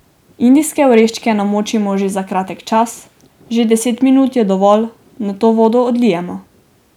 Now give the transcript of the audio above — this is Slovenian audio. Indijske oreške namočimo za kratek čas, že deset minut je dovolj, nato vodo odlijemo.